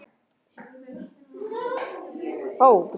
Sjálf vildi systir hans aðeins kaffi.